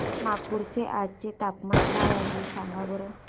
नागपूर चे आज चे तापमान काय आहे सांगा बरं